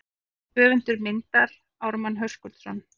Höfundur myndar Ármann Höskuldsson.